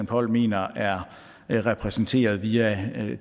poll mener er er repræsenteret via